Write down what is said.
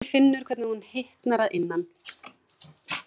Og hún finnur hvernig hún hitnar að innan.